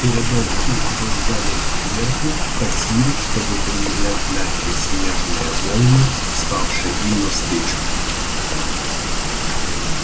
передок их был загнут кверху как свиток чтобы приминать мягкие снежные волны встававшие им навстречу